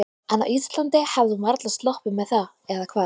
En á Íslandi hefði hún varla sloppið með það, eða hvað?